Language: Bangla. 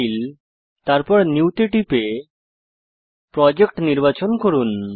ফাইল তারপর নিউ তে টিপে প্রজেক্ট নির্বাচন করুন